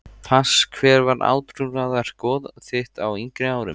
Pass Hver var átrúnaðargoð þitt á yngri árum?